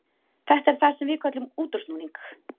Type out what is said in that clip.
Þetta er það sem við köllum útúrsnúning.